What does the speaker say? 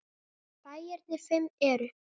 Bæirnir fimm eru